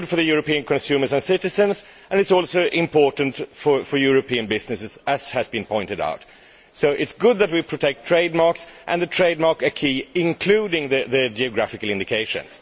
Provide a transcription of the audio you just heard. It is good for European consumers and citizens, and it is also important for European businesses, as has been pointed out. It is good that we protect trademarks and the trademark acquis, including geographical indications.